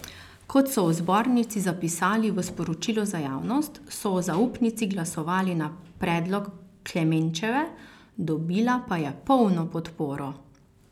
Kot so v zbornici zapisali v sporočilu za javnost, so o zaupnici glasovali na predlog Klemenčeve, dobila pa je polno podporo.